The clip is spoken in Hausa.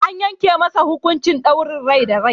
An yanke masa hukuncin daurin rai da rai.